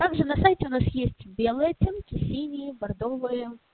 также на сайте у нас есть белые оттенки синие бордовые